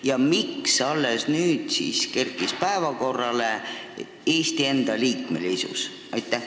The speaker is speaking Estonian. Ja miks alles nüüd Eesti liikmesus päevakorrale kerkis?